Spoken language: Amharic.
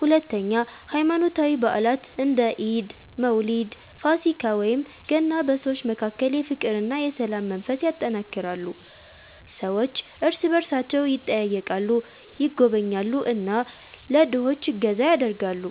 ሁለተኛ ሃይማኖታዊ በዓላት እንደ ኢድ፣ መውሊድ፣ ፋሲካ ወይም ገና በሰዎች መካከል የፍቅርና የሰላም መንፈስ ያጠናክራሉ። ሰዎች እርስ በእርሳቸው ይጠያየቃሉ፣ ይጎበኛሉ እና ለድሆች እገዛ ያደርጋሉ።